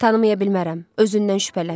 Tanımaya bilmərəm, özündən şübhələn.